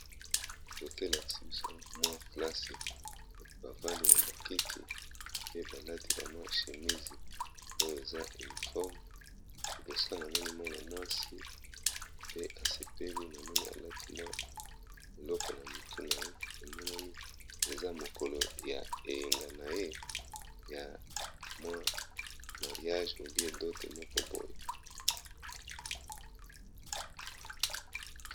Foto elakisi biso mwa plase bavandi na ba kiti pe balati ba mwa chemise oyo eza uniforme libosa namoni mwana mwasi pe asepeli namoni alati mwa eloko na mutu na ye emonani eza mokolo ya eyenga na ye ya mwa mariage ou bien dote moko boye.